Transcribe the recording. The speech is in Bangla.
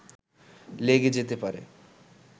লেগে যেতে পারে